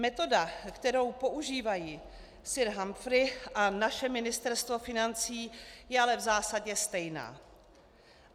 Metoda, kterou používají Sir Humphrey a naše Ministerstvo financí, je ale v zásadě stejná.